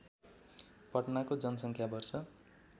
पटनाको जनसङ्ख्या वर्ष